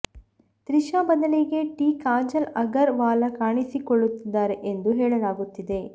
ತ್ರಿಷಾ ಬದಲಿಗೆ ಟಿ ಕಾಜಲ್ ಅಗರ್ ವಾಲ್ ಕಾಣಿಸಿಕೊಳ್ಳುತ್ತಿದ್ದಾರೆ ಎಂದು ಹೇಳಲಾಗುತ್ತಿದೆ